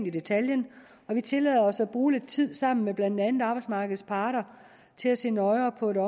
i detaljen og vi tillader os at bruge lidt tid sammen med blandt andet arbejdsmarkedets parter til at se nøjere på det